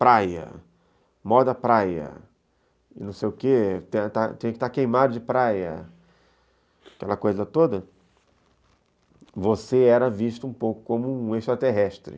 praia, moda praia, não sei o quê, tinha que estar queimado de praia, aquela coisa toda, você era visto um pouco como um extraterrestre.